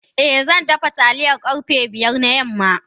Eh zandafa taliya karfe biyar na yamma.